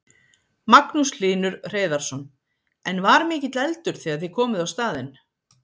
Magnús Hlynur Hreiðarsson: En var mikill eldur þegar þið komuð á staðinn?